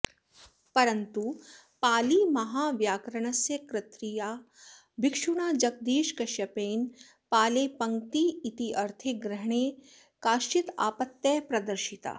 परन्तु पालिमहाव्याकरणस्य कर्त्रा भिक्षुणा जगदीशकश्यपेन पालेः पङ्क्तिरित्यर्थे ग्रहणे काश्चित् आपत्तयः प्रदर्शिताः